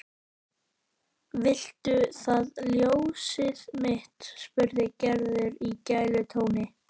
Viltu það ljósið mitt? spurði Gerður í gælutóni.